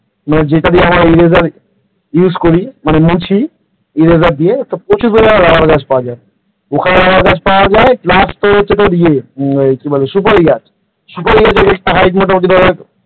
মানে যেটা দিয়ে আমরা eraser use করি মানে মুছি eraser দিয়ে প্রচুর পরিমাণে রাবার গাছ পাওয়া যায় ওখানে রাবার গাছ পাওয়া যায় plus তোর হচ্ছে ইয়ে কি বলে সুপারি সুপারি গাছ প্রত্যেকটা height মোটামুটি ধর,